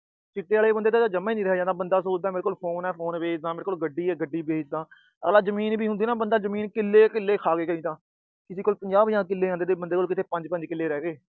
ਚਿੱਟੇ ਆਲੇ ਬੰਦੇ ਤੋਂ ਤਾਂ ਜਮਾਂ ਨੀ ਰਿਹਾ ਜਾਂਦਾ, ਬੰਦਾ ਸੋਚਦਾ ਮੇਰੇ ਕੋਲ phone ਆ, phone ਵੇਚਦਾ, ਗੱਡੀ ਆ, ਗੱਡੀ ਵੇਚ ਦਾ। ਅਗਲਾ ਜਮੀਨ ਹੁੰਦੀ ਆ ਨਾ, ਜਮੀਨ ਕਿੱਲੇ ਕਿੱਲੇ ਖਾ ਗਏ ਕਈ ਤਾਂ। ਜਿਹਦੇ ਕੋਲ ਪੰਜਾਹ-ਪੰਜਾਹ ਕਿੱਲੇ ਆਂਦੇ ਸੀ ਬੰਦੇ ਕੋਲ, ਪੰਜ-ਪੰਜ ਕਿਲੇ ਰਹਿ ਗਏ।